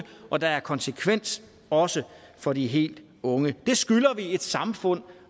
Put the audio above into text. og der er konsekvens også for de helt unge det skylder vi et samfund